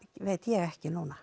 veit ég ekki núna